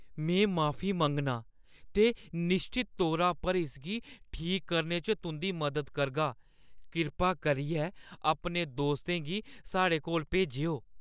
में माफी मंग्गनां ते निश्चत तौरा पर इसगी ठीक करने च तुंʼदी मदद करगा। कृपा करियै अपने दोस्तें गी साढ़े कोल भेजेओ।